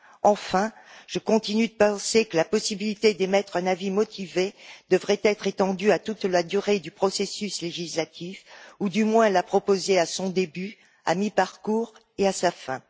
Enfin, je continue de penser que la possibilité d'émettre un avis motivé devrait être étendue à toute la durée du processus législatif ou, du moins, la proposer à son début, à mi parcours et à sa fin.